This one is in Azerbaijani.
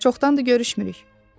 Çoxdandır görüşmürük.